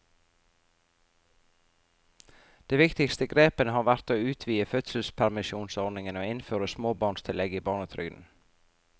De viktigste grepene har vært å utvide fødselspermisjonsordningene og innføre småbarnstillegget i barnetrygden.